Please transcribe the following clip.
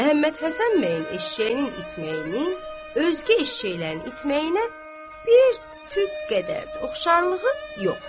Məhəmmədhəsən bəyin eşşəyinin itməyinin özgə eşşəklərin itməyinə bir tük qədər də oxşarlığı yox.